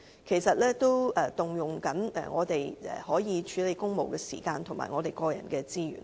其實，這亦佔用我們處理公務的時間及個人資源。